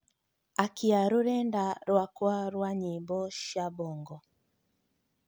akĩa rũrenda rwakwa rwa nyĩmbo cia bongo